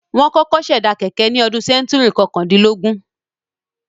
Wọ́n kọ̀kọ́ ṣẹ̀dá kẹ̀kẹ́ ní sẹ́ńtúrì kọkàndínlógún.